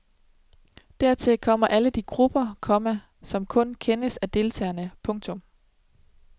Dertil kommer alle de grupper, komma som kun kendes af deltagerne. punktum